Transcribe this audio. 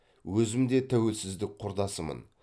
өзім де тәуелсіздік құрдасымын